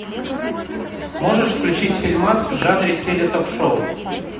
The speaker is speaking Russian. можешь включить фильмас в жанре теле ток шоу